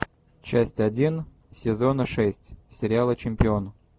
часть один сезона шесть сериала чемпион